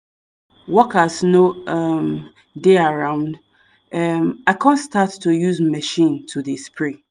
workers no um dey around um i come start to use machine to dey spray